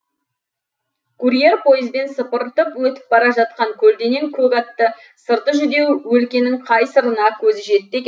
курьер пойызбен сыпыртып өтіп бара жатқан көлденең көк атты сырты жүдеу өлкенің қай сырына көзі жетті екен